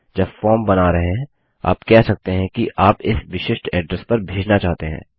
जब फॉर्म बना रहे हैं आप कह सकते हैं कि आप इस विशिष्ट एड्रेस पर भेजना चाहते हैं